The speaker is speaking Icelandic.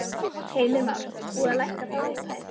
Heimir Már: Búið að lækka þá upphæð?